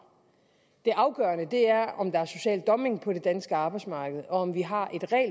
det afgørende er om der er social dumpning på det danske arbejdsmarked om vi har